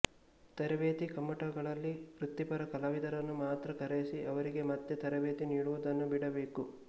ತರಬೇತಿ ಕಮ್ಮಟಗಳಲ್ಲಿ ವೃತ್ತಿಪರ ಕಲಾವಿದರನ್ನು ಮಾತ್ರ ಕರೆಯಿಸಿ ಅವರಿಗೇ ಮತ್ತೆ ತರಬೇತಿ ನೀಡುವುದನ್ನು ಬಿಡಬೇಕು